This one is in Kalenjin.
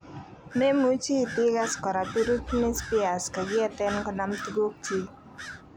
memuchi itegas kora Britney Spears kagieten konam tugukyiig